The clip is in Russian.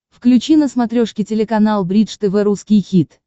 включи на смотрешке телеканал бридж тв русский хит